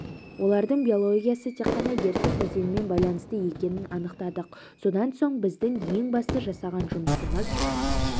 олардың биологиясы тек қана ертіс өзенімен байланысты екенін анықтадық содан соң біздің ең басты жасаған жұмысымыз